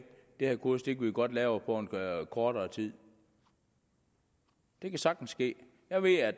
det her kursus kan vi godt lave på kortere tid det kan sagtens ske